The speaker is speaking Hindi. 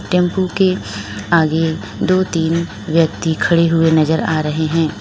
टेम्पू के आगे दो तीन व्यक्ति खड़े हुए नजर आ रहे हैं।